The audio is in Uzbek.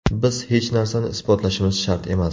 Biz hech narsani isbotlashimiz shart emas.